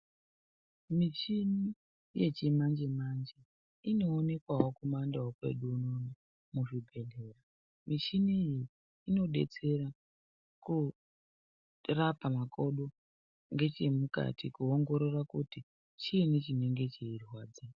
Michini yechimanje manje inoonekwawo kumandau kwedu unono muzvibhedhleya. Michini iyi inodetsera koorapa makodo ngechemukati koongorora kuti chiinyi chinenge cheirwadza.